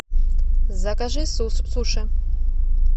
закажи суши